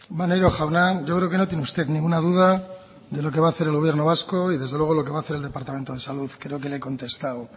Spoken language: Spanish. maneiro jauna yo creo que no tiene usted ninguna duda de lo que va hacer el gobierno vasco y desde luego lo que va hacer el departamento de salud creo que le he contestado